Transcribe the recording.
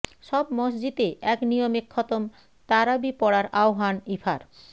সব মসজিদে এক নিয়মে খতম তারাবি পড়ার আহ্বান ইফার